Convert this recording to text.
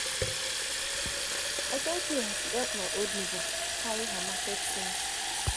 i thank you as you help my old neighbour carry her market things.